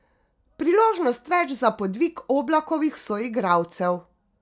Priložnost več za podvig Oblakovih soigralcev?